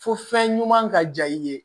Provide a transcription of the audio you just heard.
Fo fɛn ɲuman ka diya i ye